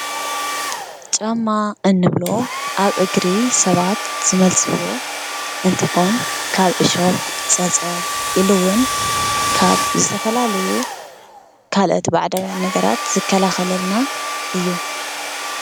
ጫማ እንብሎ ኣብ እግሪ ሰባት ዝመልስዎ እንትኮን ካብ ዕሾኽ፣ ፀፀር ኢሉ ውን ካብ ዝተፈላለዩ ካልኦት ባዕዳውያን ነገራት ዝከላኸለልና እዩ ።